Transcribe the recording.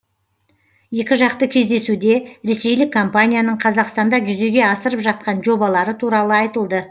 екіжақты кездесуде ресейлік компанияның қазақстанда жүзеге асырып жатқан жобалары туралы айтылды